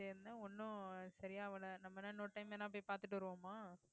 இருந்தேன் ஒண்ணும் சரியாகல நம்ம என்ன இன்னொரு time வேணா போய் பார்த்துட்டு வருவோமா